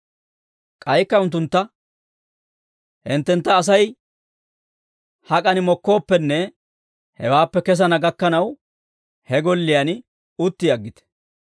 K'aykka unttuntta, «Hinttentta Asay hak'an mokkooppenne, hewaappe kesana gakkanaw, he golliyaan utti aggite.